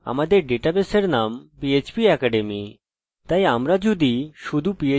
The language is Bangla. তাই আমি যদি শুধু phpacademy লিখি এটি কাজ করা উচিত